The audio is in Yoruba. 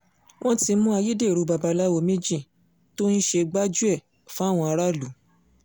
wọ́n ti mú ayédèrú babaláwo méjì tó ń ṣe gbájú-ẹ̀ fáwọn aráàlú